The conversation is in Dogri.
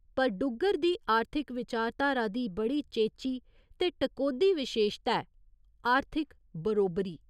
पर डुग्गर दी आर्थिक विचारधारा दी बड़ी चेची ते टकोह्दी विशेशता ऐ आर्थिक बरोबरी।